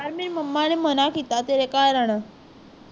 ਯਾਰ ਮੇਰੀ momma ਨੇ ਮਨਾ ਕਰਿਆ ਤੇਰੇ ਘਰ ਆਣ